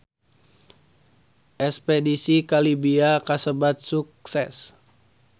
Espedisi ka Libya kasebat sukses